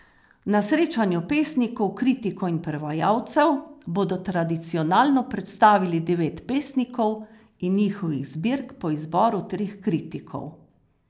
Na srečanju pesnikov, kritikov in prevajalcev bodo tradicionalno predstavili devet pesnikov in njihovih zbirk po izboru treh kritikov.